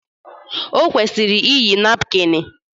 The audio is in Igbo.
Ọ kwụsịrị iyi napkịn.